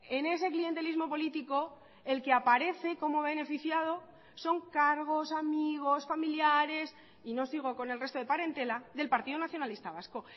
en ese clientelismo político el que aparece como beneficiado son cargos amigos familiares y no sigo con el resto de parentela del partido nacionalista vasco